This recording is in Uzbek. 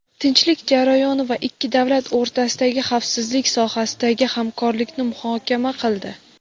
tinchlik jarayoni va ikki davlat o‘rtasidagi xavfsizlik sohasidagi hamkorlikni muhokama qildi.